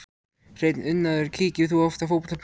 Hreinn unaður Kíkir þú oft á Fótbolti.net?